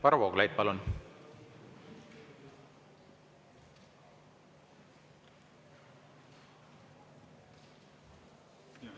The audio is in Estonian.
Varro Vooglaid, palun!